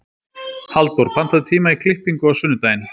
Halldór, pantaðu tíma í klippingu á sunnudaginn.